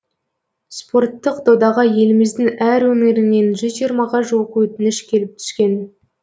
спорттық додаға еліміздің әр өңірінен жүз жиырмаға жуық өтініш келіп түскен